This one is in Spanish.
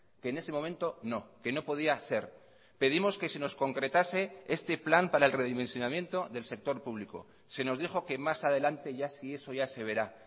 que en ese momento no que no podía ser pedimos que se nos concretase este plan para el redimensionamiento del sector público se nos dijo que más adelante ya si eso ya se verá